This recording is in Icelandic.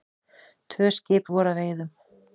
Tvö skip voru að veiðum.